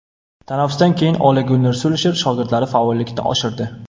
Tanaffusdan keyin Ole-Gunner Sulsher shogirdlari faollikni oshirdi.